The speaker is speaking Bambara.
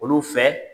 Olu fɛ